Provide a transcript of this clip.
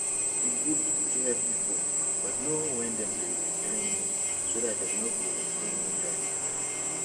e good to help pipo but know when dem dey drain you so dat dem no go run you dry